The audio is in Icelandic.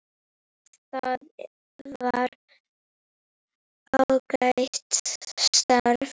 Það var ágætt starf.